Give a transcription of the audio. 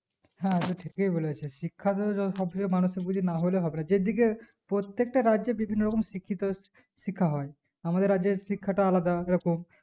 হ্যাঁ টু ঠিকই বলেছিস শিক্ষা সব থেকে মানুষ এর যদি নাহলে হবে না যেদিকে প্রত্যেকটা রাজ্যে বিভিন্ন রকম শিক্ষিত শিক্ষা হয় আমাদের রাজ্যে শিক্ষাটা আলাদা রকম